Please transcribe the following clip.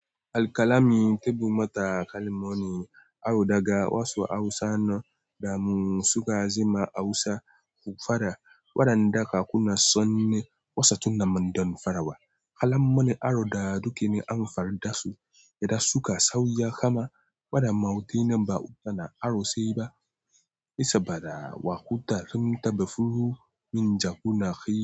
Alƙalami tebu mata kalmomi aro daga wasu Hausa nan damu suka zama Hausa kufada. Waɗanda kakunan su ne wasu tunnan don farawa. Kalamanin aro da dukin an farda su, da suka sauya kuma waɗannan mautai ba suna aro sai ba. Saboda waƙuta sun taba fufu min jagora kai.